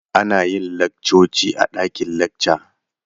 Ana yin laccoci a dakin lacca.